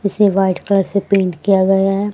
इसे white colour से paint किया गया हैं।